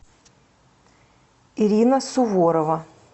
ирина суворова